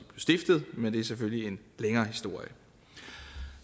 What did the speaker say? stiftet men det er selvfølgelig en længere historie